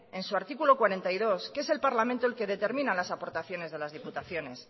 en su artículo cuarenta y dos que es el parlamento el que determina las aportaciones de las diputaciones